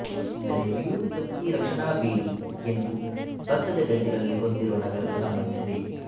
ಅಂದರೆ ವ್ಯುತ್ಪತ್ತಿ ರಕ್ಷಣಾ ಬೇಲಿ ಎಂದು ಭತ್ತದ ಗದ್ದೆಗಳಲ್ಲಿ ಹೊಂದಿರುವ ನಗರದ ಸಂಬಂಧಿಸಿದೆ